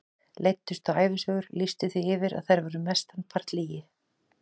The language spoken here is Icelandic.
Leiddust þá ævisögur, lýsti því yfir að þær væru mestan part lygi.